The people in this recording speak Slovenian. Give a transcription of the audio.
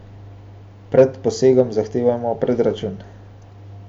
Pred posegom zahtevajmo predračun.